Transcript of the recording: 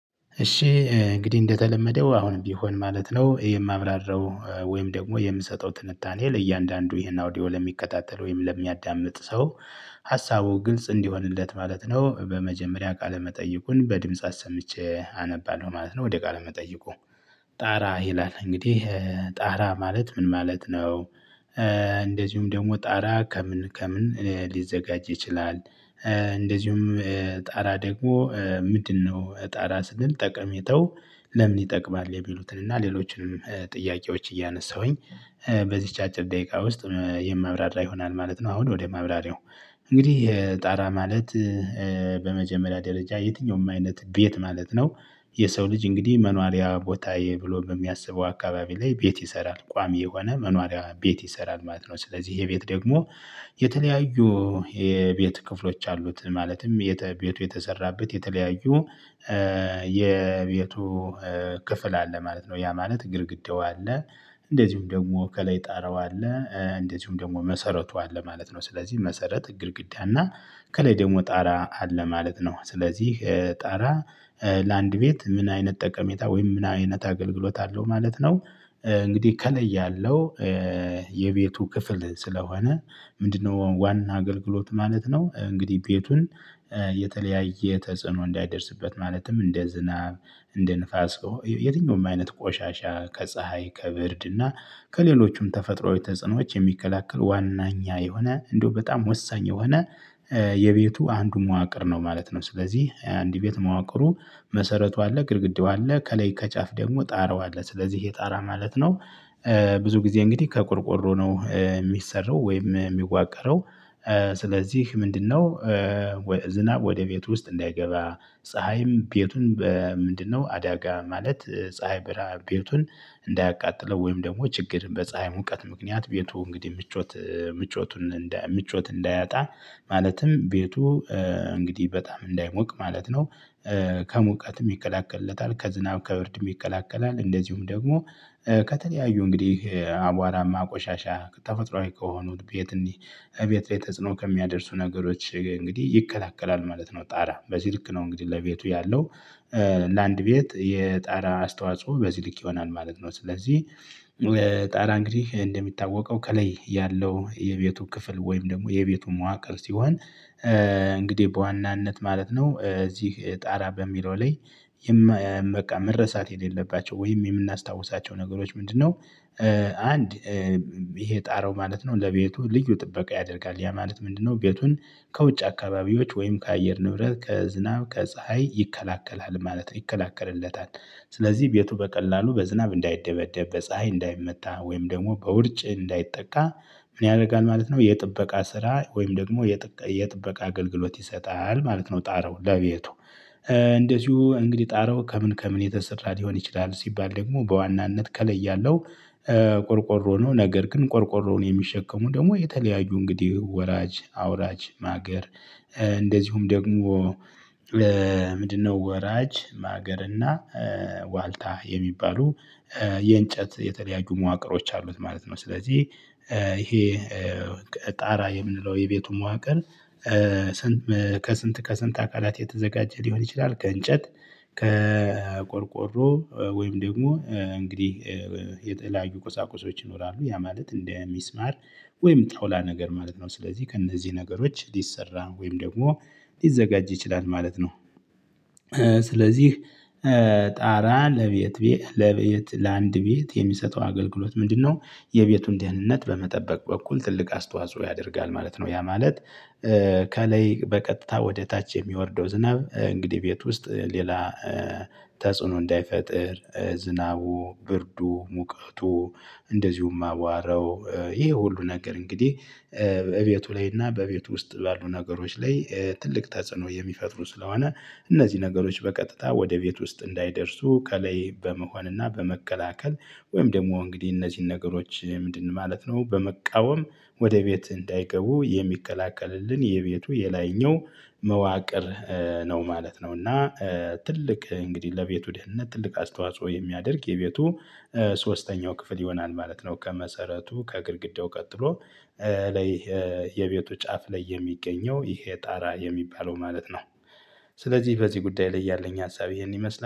እሺ እንግዲህ እንደተለመደው አሁንም ቢሆን ማለት ነው የማብራራው ወይም ደግሞ የምሰጠው ትንታኔ ለእያንዳንዱ ይሄን አውዲዮ ለሚከታተል ወይም ለሚያዳምጥ ሰው ሀሳቡ ግልጽ እንዲሆንለት ማለት ነው። በመጀመሪያ ቃለ መጠይቁን በድምጽ አሰምቼ አነባለሁ ማለት ነው። ወደ ቃለ መጠይቁ። ጣራ ይላል እንግዲህ። ጣራ ማለት ምን ማለት ነው? እንደዚሁም ደግሞ ጣራ ከምን ከምን ሊዘጋጅ ይችላል? እንደዚሁም ጣራ ደግሞ ምንድነው ጣራ ስል ጠቀሜታው? ለምን ይጠቅማል? የሚሉትን እና ሌሎችንም ጥያቄዎች እያነሳሁኝ በዚች አጭር ደቂቃ ውስጥ የማብራራ ይሆናል ማለት ነው። አሁን ወደ ማብራሪያው። እንግዲህ ጣራ ማለት በመጀመሪያ ደረጃ የትኛውም አይነት ቤት ማለት ነው። የሰው ልጅ እንግዲህ መኖሪያ ቦታየ ብሎ በሚያስበው አካባቢ ላይ ቤት ይሰራል። ቋሚ የሆነ መኖሪያ ቤት ይሰራል ማለት ነው። ስለዚህ ይሄ ቤት ደግሞ የተለያዩ የቤት ክፍሎች አሉት። ማለትም ቤቱ የተሰራበት የተለያዩ የቤቱ ክፍል አለ ማለት ነው። ያ ማለት ግድግዳው አለ፣ እንደዚሁም ደግሞ ከላይ ጣረው አለ፣ እንደዚሁም ደግሞ መሰረቱ አለ ማለት ነው። ስለዚህ መሰረት፣ ግድግዳ እና ከላይ ደግሞ ጣራ አለ ማለት ነው። ስለዚህ ጣራ ለአንድ ቤት ምን አይነት ጠቀሜታ ወይም ምን አይነት አገልግሎት አለው ማለት ነው? እንግዲህ ከላይ ያለው የቤቱ ክፍል ስለሆነ ምንድነው ዋና አገልግሎት ማለት ነው? እንግዲህ ቤቱን የተለያየ ተጽዕኖ እንዳይደርስበት ማለትም እንደ ዝናብ፣ እንደ ንፋስ የሆነ የትኛውም አይነት ቆሻሻ ከፀሀይ፣ ከብርድ እና ከሌሎችም ተፈጥሮዊ ተጽዕኖዎች የሚከላከል ዋነኛ የሆነ እንደው በጣም ወሳኝ የሆነ የቤቱ አንዱ መዋቅር ነው ማለት ነው። ስለዚህ አንድ ቤት መዋቅሩ መሰረቱ አለ፣ ግድግዳው አለ ከላይ ከጫፍ ደግሞ ጣራው አለ። ስለዚህ ይህ ጣራ ማለት ነው ብዙ ጊዜ እንግዲህ ከቆርቆሮ ነው የሚሰራው ወይም የሚዋቀረው። ስለዚህ ምንድነው ዝናብ ወደ ቤት ውስጥ እንዳይገባ፣ ፀሀይም ቤቱን ምንድነው አዳጋ ማለት ፀሀይ ብርሃን ቤቱን እንዳያቃጥለው ወይም ደግሞ ችግር በፀሀይ ሙቀት ምክንያት ቤቱ እንግዲህ ምቾት ምቾቱን ምቾት እንዳያጣ ማለትም ቤቱ እንግዲህ በጣም እንዳይሞቅ ማለት ነው። ከሙቀትም ይከላከልለታል፣ ከዝናብ ከውርድም ይከላከላል። እንደዚሁም ደግሞ ከተለያዩ እንግዲህ አቧራማ፣ ቆሻሻ፣ ተፈጥሮአዊ ከሆኑት ቤት እንዲህ ቤት ቤት ተጽኖ ከሚያደርሱ ነገሮች እንግዲህ ይከታተላል ማለት ነው። ጣራ በዚህ ልክ ነው እንግዲህ ለቤቱ ያለው ለአንድ ቤት የጣራ አስተዋጽኦ በዚህ ልክ ይሆናል ማለት ነው። ስለዚህ ጣራ እንግዲህ እንደሚታወቀው ከላይ ያለው የቤቱ ክፍል ወይም ደግሞ የቤቱ መዋቅር ሲሆን እንግዲህ በዋናነት ማለት ነው እዚህ ጣራ በሚለው ላይ በቃ መረሳት የሌለባቸው ወይም የምናስታውሳቸው ነገሮች ምንድነው? አንድ ይሄ ጣረው ማለት ነው ለቤቱ ልዩ ጥበቃ ያደርጋል። ያ ማለት ምንድነው ቤቱን ከውጭ አካባቢዎች ወይም ከአየር ንብረት፣ ከዝናብ፣ ከፀሀይ ይከላከላል ማለት ነው። ይከላከልለታል። ስለዚህ ቤቱ በቀላሉ በዝናብ እንዳይደበደብ፣ በፀሀይ እንዳይመታ ወይም ደግሞ በውርጭ እንዳይጠቃ ምን ያደርጋል ማለት ነው? የጥበቃ ስራ ወይም ደግሞ የጥበቃ አገልግሎት ይሰጣል ማለት ነው። ጣረው ለቤቱ እንደዚሁ እንግዲህ ጣረው ከምን ከምን የተሰራ ሊሆን ይችላል? ሲባል ደግሞ በዋናነት ከላይ ያለው ቆርቆሮ ነው። ነገር ግን ቆርቆሮውን የሚሸከሙ ደግሞ የተለያዩ እንግዲህ ወራጅ፣ አውራጅ ማገር እንደዚሁም ደግሞ ምንድነው ወራጅ፣ ማገር እና ዋልታ የሚባሉ የእንጨት የተለያዩ መዋቅሮች አሉት ማለት ነው። ስለዚህ ይሄ ጣራ የምንለው የቤቱን መዋቅር ከስንት ከስንት አካላት የተዘጋጀ ሊሆን ይችላል? ከእንጨት፣ ከቆርቆሮ ወይም ደግሞ እንግዲህ የተለያዩ ቁሳቁሶች ይኖራሉ። ያ ማለት እንደሚስማር ወይም ጠውላ ነገር ማለት ነው። ስለዚህ ከእነዚህ ነገሮች ሊሰራ ወይም ደግሞ ሊዘጋጅ ይችላል ማለት ነው። ስለዚህ ጣራ ለቤት ለቤት ለአንድ ቤት የሚሰጠው አገልግሎት ምንድነው? የቤቱን ድህነት በመጠበቅ በኩል ትልቅ አስተዋጽኦ ያደርጋል ማለት ነው። ያ ማለት ከላይ በቀጥታ ወደ ታች የሚወርደው ዝናብ እንግዲህ ቤት ውስጥ ሌላ ተጽዕኖ እንዳይፈጥር ዝናቡ፣ ብርዱ፣ ሙቀቱ እንደዚሁም አዋረው ይሄ ሁሉ ነገር እንግዲህ በቤቱ ላይ እና በቤቱ ውስጥ ባሉ ነገሮች ላይ ትልቅ ተጽዕኖ የሚፈጥሩ ስለሆነ እነዚህ ነገሮች በቀጥታ ወደ ቤት ውስጥ እንዳይደርሱ ከላይ በመሆንና በመከላከል ወይም ደግሞ እንግዲህ እነዚህን ነገሮች ምንድን ማለት ነው በመቃወም ወደ ቤት እንዳይገቡ የሚከላከልልን የቤቱ የላይኛው መዋቅር ነው ማለት ነው። እና ትልቅ እንግዲህ ለቤቱ ድህንነት ትልቅ አስተዋጽኦ የሚያደርግ የቤቱ ሶስተኛው ክፍል ይሆናል ማለት ነው። ከመሰረቱ ከግድግዳው ቀጥሎ ላይ የቤቱ ጫፍ ላይ የሚገኘው ይሄ ጣራ የሚባለው ማለት ነው። ስለዚህ በዚህ ጉዳይ ላይ ያለኝ አሳቢ ይሄን ይመስላል።